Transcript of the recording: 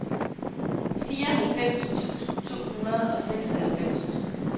fireoghalvfems tusind to hundrede og seksoghalvfems